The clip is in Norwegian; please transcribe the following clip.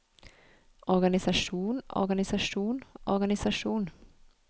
organisasjon organisasjon organisasjon